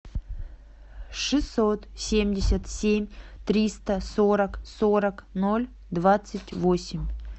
шестьсот семьдесят семь триста сорок сорок ноль двадцать восемь